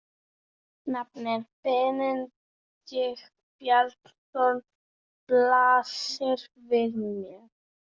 Nafnið Benedikt Bjarnason blasir við mér.